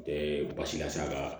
Ɛɛ basi la sa ka